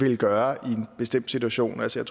vil gøre i en bestemt situation altså